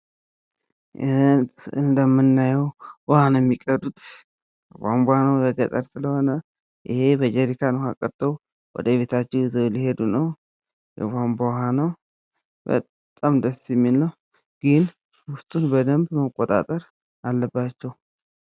እንደምናየው በጀሪካን ውሃ ቀድተው ወደ ቤት እየወሰዱ ነው የሚታየው። በጣም ደስ የሚል ነው። ግን በደምብ ውስጡን መቆጣጠር አለባቸው።